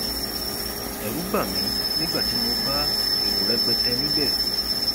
ẹrù bà mí nígbà tí mo bá èrò rẹpẹtẹ níbẹ